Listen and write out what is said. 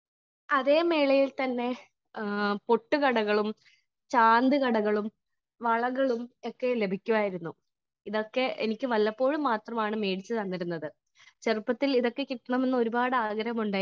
Speaker 1 അതേ മേളയിൽ തന്നെ പൊട്ട് കടകളും ചാന്ത് കടകളും വളകളും ഒക്കെ ലഭിക്കുമായിരുന്നു . ഇതൊക്കെ എനിക്ക് വല്ലപ്പോഴും മാത്രമാണ് മേടിച്ച് തന്നിരുന്നത് . ചെറുപ്പത്തിൽ ഇതൊക്കെ കിട്ടണമെന്ന് ഒരുപാട് ആഗ്രഹമുണ്ടായിരുന്നു.